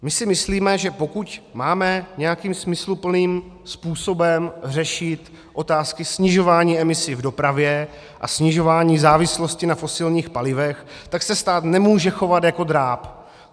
My si myslíme, že pokud máme nějakým smysluplným způsobem řešit otázky snižování emisí v dopravě a snižování závislosti na fosilních palivech, tak se stát nemůže chovat jako dráb.